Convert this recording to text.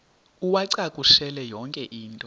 uwacakushele yonke into